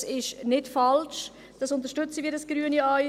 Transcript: Dies ist nicht falsch, und wir unterstützen es als Grüne auch.